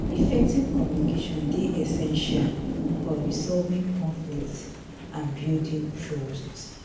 effective communication dey essential essential for resolving conflicts and building trust.